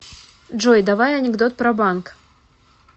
джой давай анекдот про банк